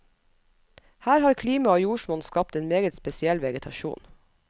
Her har klima og jordsmonn skapt en meget spesiell vegetasjon.